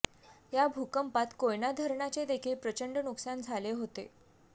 या भूकंपात कोयना धरणाचे देखील प्रचंड नुकसान झाले होते